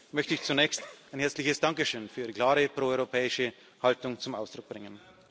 Und deswegen möchte ich zunächst ein herzliches Dankeschön für Ihre klare proeuropäische Haltung zum Ausdruck bringen.